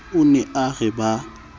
o ne a re ba